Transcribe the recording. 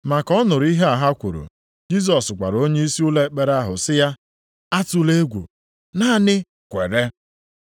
Ma ka ọ nụrụ ihe ha kwuru, Jisọs gwara onyeisi ụlọ ekpere ahụ sị ya, “Atụla egwu, naanị kwere.”